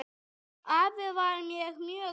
Afi var mér mjög kær.